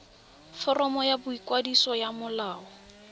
foromo ya boikwadiso ya molao